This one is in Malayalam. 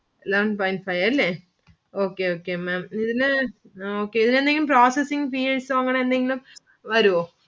Eleven point five അല്ലെ. okay okay Maám ഇതിനു എന്തെങ്കിലും processing fees ഓ അങ്ങനെയെന്തെങ്കിലും വരുവോ?